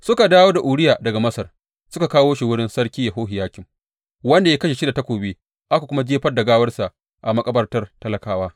Suka dawo da Uriya daga Masar suka kawo shi wurin Sarki Yehohiyakim, wanda ya kashe shi da takobi aka kuma jefar da gawarsa a makabartar talakawa.